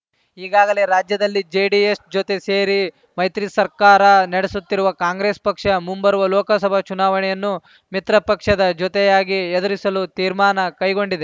ಈಗಾಗಲೇ ರಾಜ್ಯದಲ್ಲಿ ಜೆಡಿಎಸ್‌ ಜೊತೆ ಸೇರಿ ಮೈತ್ರಿ ಸರ್ಕಾರ ನಡೆಸುತ್ತಿರುವ ಕಾಂಗ್ರೆಸ್‌ ಪಕ್ಷ ಮುಂಬರುವ ಲೋಕಸಭಾ ಚುನಾವಣೆಯನ್ನೂ ಮಿತ್ರ ಪಕ್ಷದ ಜೊತೆಯಾಗಿ ಎದುರಿಸಲು ತೀರ್ಮಾನ ಕೈಗೊಂಡಿದೆ